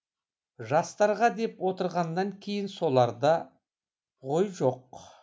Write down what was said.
жастарға деп отырғаннан кейін соларда ғой жоқ